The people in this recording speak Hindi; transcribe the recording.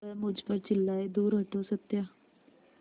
वह मुझ पर चिल्लाए दूर हटो सत्या